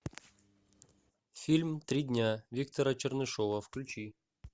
фильм три дня виктора чернышева включи